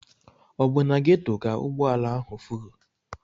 Ọ bụ na Ghetto ka ụgbọ ala ahụ furu?